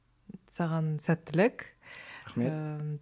саған сәттілік рахмет ыыы